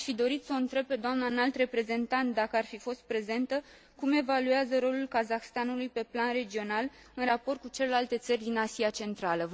Aș fi dorit să o întreb pe dna Înalt Reprezentant, dacă ar fi fost prezentă, cum evaluează rolul Kazahstanului pe plan regional, în raport cu celelalte țări din Asia Centrală.